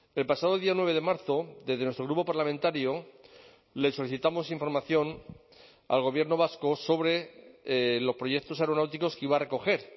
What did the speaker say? el pasado día nueve de marzo desde nuestro grupo parlamentario le solicitamos información al gobierno vasco sobre los proyectos aeronáuticos que iba a recoger